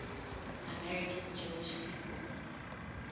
american jewish people